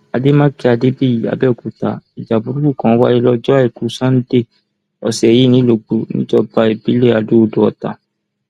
àdèmàkè adébíyí abẹọkúta ìjà burúkú kan wáyé lọjọ àìkú sannda ọsẹ yìí nìlọgbọ níjọba ìbílẹ adóodò ọtá